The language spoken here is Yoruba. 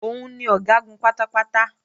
Òun ni Ọ̀gágun pátápátá